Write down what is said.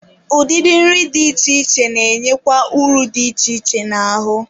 Udịdị nri dị iche iche na-enyekwa ụrụ dị iche iche n'ahụ.